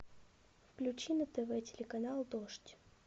включи на тв телеканал дождь